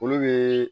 Olu bɛ